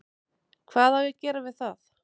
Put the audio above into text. Hvað á ég að gera við það?